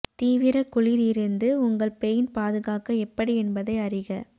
தீவிர குளிர் இருந்து உங்கள் பெயிண்ட் பாதுகாக்க எப்படி என்பதை அறிக